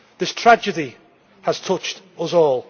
This tragedy has touched us all.